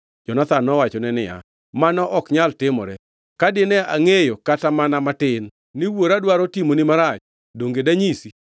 Jonathan nowachone niya, “Mano ok nyal timore! Ka dine angʼeyo kata mana matin ni wuora dwaro timoni marach, donge danyisi?”